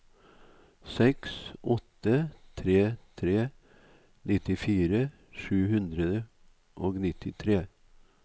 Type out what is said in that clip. seks åtte tre tre nittifire sju hundre og nittitre